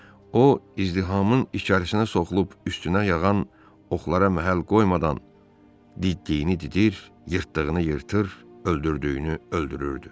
O, izdihamın içərisinə soxulub, üstünə yağan oxlara məhəl qoymadan, diddiyini didir, yırtdığını yırtır, öldürdüyünü öldürürdü.